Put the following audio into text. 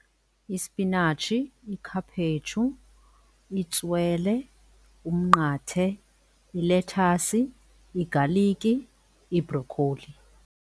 Ispinatshi, ikhaphetshu, itswele, umnqathe, ilethasi, igaliki, ibhrokholi.